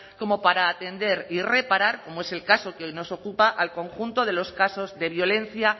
como para atender y reparar como es el caso que nos ocupa al conjunto de los casos de violencia